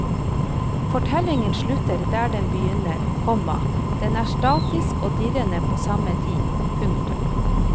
Fortellingen slutter der den begynner, komma den er statisk og dirrende på samme tid. punktum